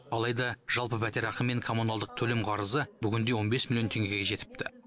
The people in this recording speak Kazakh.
алайда жалпы пәтерақы мен коммуналдық төлем қарызы бүгінде он бес миллион теңгеге жетіпті